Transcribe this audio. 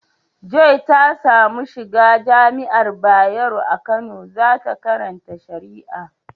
Joy ta samu shiga jami'ar bayaro a Kano za ta karata shari'a.